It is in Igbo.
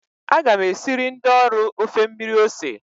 Aga m esiri ndi ọrụ ofe mmiri ose